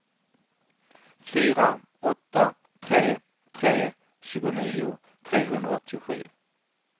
fyra åtta tre tre tjugonio trehundraåttiosju